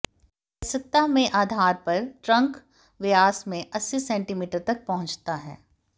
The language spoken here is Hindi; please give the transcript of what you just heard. वयस्कता में आधार पर ट्रंक व्यास में अस्सी सेंटीमीटर तक पहुँचता है